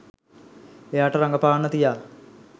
එයාට රඟපාන්න තියා